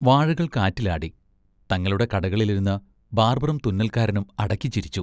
വാഴകൾ കാറ്റിലാടി. തങ്ങളുടെ കടകളിലിരുന്ന് ബാർബറും തുന്നൽക്കാരനും അടക്കിച്ചിരിച്ചു.